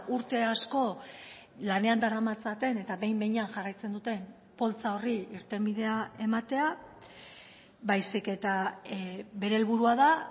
urte asko lanean daramatzaten eta behin behinean jarraitzen duten poltsa horri irtenbidea ematea baizik eta bere helburua da